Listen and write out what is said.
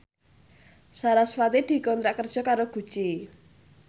sarasvati dikontrak kerja karo Gucci